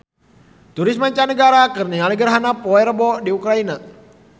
Turis mancanagara keur ningali gerhana bulan poe Rebo di Ukraina